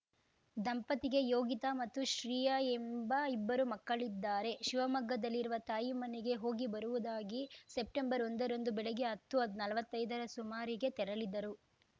ದಂಪತಿಗೆ ಯೋಗಿತಾ ಮತ್ತು ಶ್ರೀಯಾ ಎಂಬ ಇಬ್ಬರು ಮಕ್ಕಳಿದ್ದಾರೆ ಶಿವಮೊಗ್ಗದಲ್ಲಿರುವ ತಾಯಿ ಮನೆಗೆ ಹೋಗಿ ಬರುವುದಾಗಿ ಸೆಪ್ಟೆಂಬರ್ಒಂದರಂದು ಬೆಳಗ್ಗೆ ಹತ್ತುನಲ್ವತ್ತೈದರ ಸುಮಾರಿಗೆ ತೆರಳಿದ್ದರು